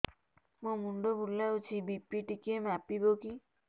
ମୋ ମୁଣ୍ଡ ବୁଲାଉଛି ବି.ପି ଟିକିଏ ମାପିବ କି